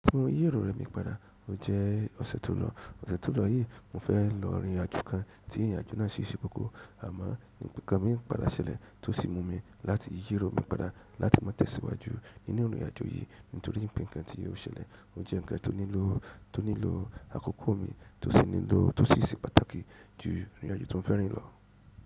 Mo yí ìwòyè mi padà, o jẹ́ ọ̀sẹ̀ tó lọ. Ọ̀sẹ̀ tó lọ yìí mo fẹ́ lọ ìrìnàjò kan tí ìrìnàjò náà sì ṣe koko, àmọ́ nkan mi padà ṣẹlẹ̀ tó sì mú mi láti yí irò mi padà láti má tẹ̀síwájú nínú ìrìnàjò yìí nítorí pé ǹkan tí yóò ṣẹlẹ̀ ò jẹ́ ǹkan tó nílò, tó nílò àkókò mi tó sì nílò tó sì ṣe pàtàkì ju ìrìnàjò tó ń fẹ́ rìn lọ.